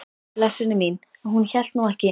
Blessunin mín, hún hélt nú ekki!